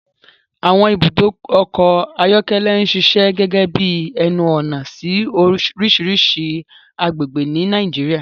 Àwọn ibùdó ọkọ̀ ayọ́kẹ́lẹ́ ń ṣiṣẹ́ gẹ́gẹ́ bí ẹnu-ọ̀nà sí oríṣiríṣi agbègbè ní Nàìjíríà.